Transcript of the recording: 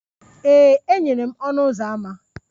Ee, e nyere m ọnụ ụzọ ámá.